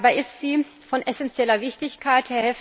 Dabei ist sie von essenzieller Wichtigkeit.